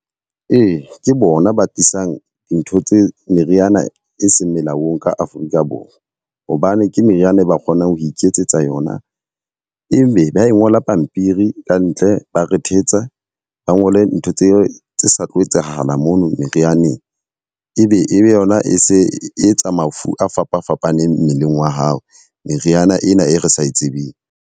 Ee, ke bona ba tlisang dintho tse meriana e seng melaong ka Afrika Borwa. Hobane ke meriana e ba kgonang ho iketsetsa yona. Evbe ba ngola pampiri ka ntle ba re thetsa ba ngole ntho tse tse sa tlo etsahala mona merianeng. E be e be yona e se etsa mafu a fapa fapaneng mmeleng wa hao. Meriana ena e re sa e tsebeng.